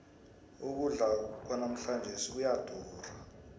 ukudla kwanamhlanjesi kuyadura